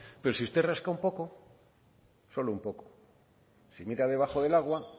pero si usted rasca un poco solo un poco si mira debajo del agua